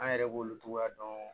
An yɛrɛ b'olu togoya dɔn